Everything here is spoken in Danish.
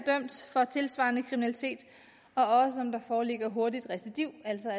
er tilsvarende kriminalitet og også om der foreligger hurtigt recidiv altså